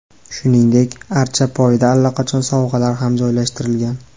Shuningdek, archa poyida allaqachon sovg‘alar ham joylashtirilgan.